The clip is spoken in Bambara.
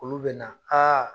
Olu bɛna